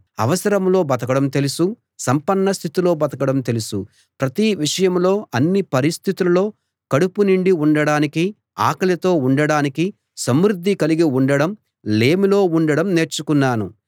అవసరంలో బతకడం తెలుసు సంపన్న స్థితిలో బతకడం తెలుసు ప్రతి విషయంలో అన్ని పరిస్థితుల్లో కడుపు నిండి ఉండడానికీ ఆకలితో ఉండడానికీ సమృద్ధి కలిగి ఉండడం లేమిలో ఉండడం నేర్చుకున్నాను